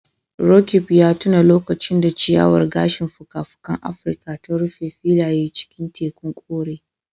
Roqeeb ya tuna lokacin da ciyawar gashin fuka-fukan Afirka ta rufe filayen cikin tekun kore.